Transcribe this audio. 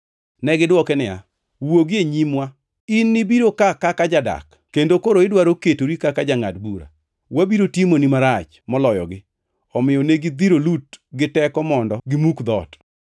Negidwoke niya, “Wuogi e nyimwa, in nibiro ka kaka jadak kendo koro idwaro ketori kaka jangʼad bura!” Wabiro timoni marach moloyogi, omiyo ne gidhiro Lut giteko mondo gi muk dhoot.